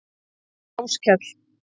Áskell